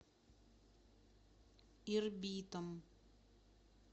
ирбитом